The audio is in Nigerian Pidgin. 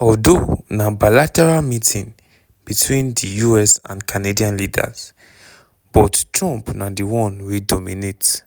although na bilateral meeting between di us and canadian leaders - but trump na di one wey dominate.